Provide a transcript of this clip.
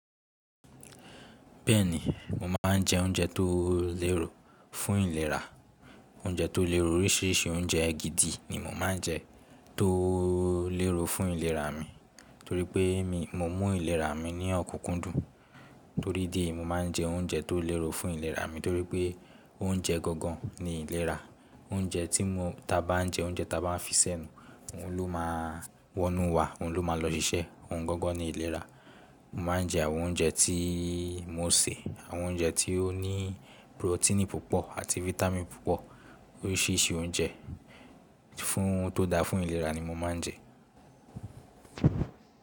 Bẹ́ẹ̀ni, mo máa ń jẹ oúnjẹ tó léro fún ìlera. Oúnjẹ tó léro, oríṣìíríṣìí oúnjẹ gidi ni mo máa ń jẹ tó léro fún ìlera mi, torí pé mi, mo mú ìlera mi ní ọ̀kúnkúndùn. Torí díẹ̀, mo máa ń jẹ oúnjẹ tó léro fún ìlera mi, torí pé oúnjẹ gangan ni ìlera. Oúnjẹ tí mo, tí a bá ń jẹ oúnjẹ tí a bá ń fi sẹ́nu, òun ló máa wọnú wa, òun ló máa lọ ṣiṣẹ́, òun gangan ni ìlera. Mo máa ń jẹ àwọn oúnjẹ tí mo sè, àwọn oúnjẹ tí ó ní protein púpọ̀ àti vitamin púpọ̀. Oríṣìíríṣìí oúnjẹ fún ohun tó da fún ìlera ni mo máa ń jẹ.